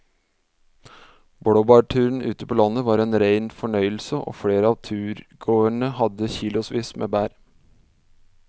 Blåbærturen ute på landet var en rein fornøyelse og flere av turgåerene hadde kilosvis med bær.